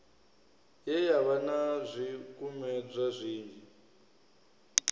ye yavha na zwikumedzwa zwinzhi